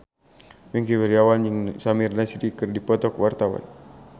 Wingky Wiryawan jeung Samir Nasri keur dipoto ku wartawan